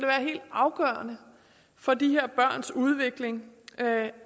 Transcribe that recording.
helt afgørende for de her børns udvikling